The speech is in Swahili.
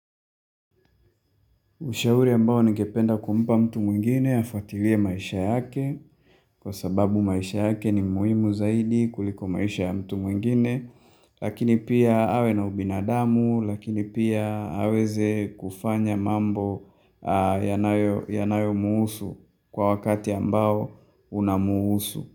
Ushauri ambao ningependa kumpa mtu mwingine afuatilie maisha yake kwa sababu maisha yake ni muhimu zaidi kuliko maisha ya mtu mwingine Lakini pia awe na ubinadamu, lakini pia aweze kufanya mambo yanayo yanayo mhusu kwa wakati ambao unamhusu.